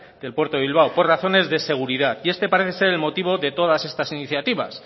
del puerto de bilbao por razones de seguridad y este parece ser el motivo de todas estas iniciativas